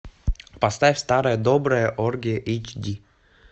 поставь старая добрая оргия эйч ди